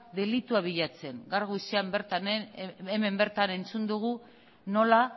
delitua bilatzen gaur goizean bertan hemen bertan entzun dugu nola